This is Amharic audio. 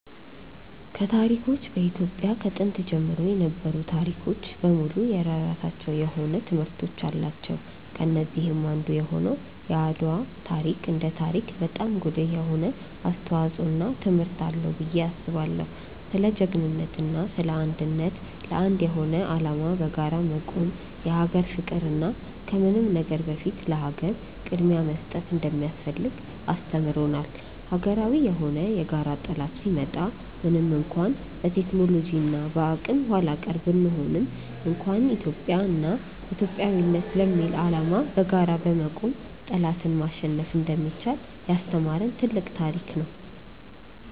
ከታሪኮች በኢትዮጵያ ከጥንት ጀምሮ የነበሩ ታሪኮች በሙሉ የየራሳቸው የሆነ ትምህርቶች አላቸው። ከነዚህም አንዱ የሆነው የአድዋ ታሪክ እንደ ታሪክ በጣም ጉልህ የሆነ አስተዋጽዖ እና ትምህርት አለው ብዬ አስባለው። ስለ ጅግንነት እና ስለ አንድነት፣ ለአንድ የሆነ አላማ በጋራ መቆም፣ የሀገር ፍቅር እና ከምንም ነገር በፊት ለሀገር ቅድምያ መስጠት እንደሚያስፈልግ አስተምሮናል። ሀገራዊ የሆነ የጋራ ጠላት ሲመጣ ምንም እንኳን በቴክኖሎጂ እና በአቅም ኃላቀር ብንሆንም እንኳን ኢትዮጵያ እና ኢትዮጵያዊነት ለሚል አላማ በጋራ በመቆም ጠላትን ማሸነፍ እንደሚቻል ያስተማሪን ትልቅ ታሪክ ነው።